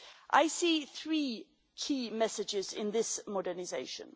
I see three key messages in this modernisation.